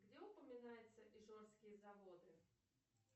где упоминаются ижорские заводы